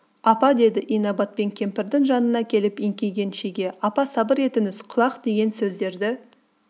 апа деді инабатпен кемпірдің жанына келіп еңкейген шеге апа сабыр етіңіз құлақ деген сөздерді